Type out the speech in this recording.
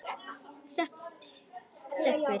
Set og setberg